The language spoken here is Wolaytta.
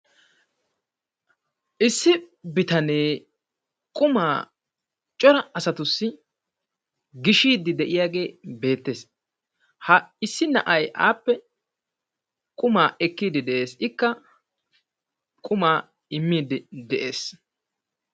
issi bitanee qumaa cora asatussi gishiidi diyaagee beetees. ha issi na'ay appe qumaa ekiidi beetees. ikka qumaa imiidi des.